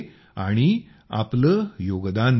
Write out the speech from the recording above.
आणि आपले योगदान ही दिलं आहे